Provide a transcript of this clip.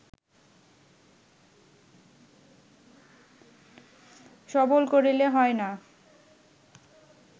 সবল করিলে হয় না